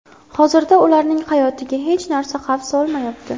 Hozirda ularning hayotiga hech narsa xavf solmayapti.